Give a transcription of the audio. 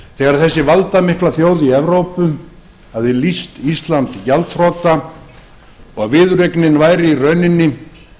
þegar þessi valdamikla þjóð í evrópu hafði lýst ísland gjaldþrota og viðureignin væri í rauninni